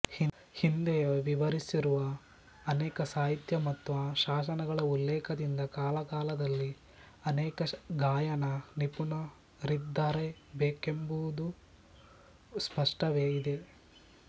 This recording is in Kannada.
ಹಿಂದೆಯೇ ವಿವರಿಸಿರುವ ಅನೇಕ ಸಾಹಿತ್ಯ ಮತ್ತು ಶಾಸನಗಳ ಉಲ್ಲೇಖದಿಂದ ಕಾಲಕಾಲದಲ್ಲಿ ಅನೇಕ ಗಾಯನ ನಿಪುಣರಿದ್ದಿರಬೇಕೆಂಬುದು ಸ್ಪಷ್ಟವೇ ಇದೆ